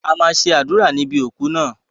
A máa ṣe àdúrà níbi òku náà.